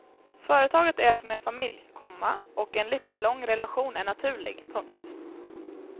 Företaget är som en familj, komma och en livslång relation är naturlig. punkt